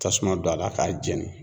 Tasuma don a la k'a jeni.